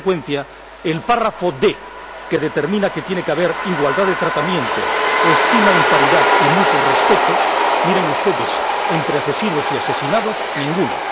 En consecuencia, el considerando D, que determina que tiene que haber igualdad de tratamiento, estima en paridad y mutuo respeto, miren ustedes, entre asesinos y asesinados, ninguno.